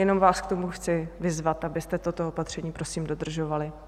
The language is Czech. Jenom vás k tomu chci vyzvat, abyste toto opatření prosím dodržovali.